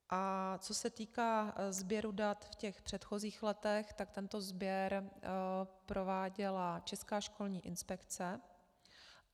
A co se týká sběru dat v těch předchozích letech, tak tento sběr prováděla Česká školní inspekce.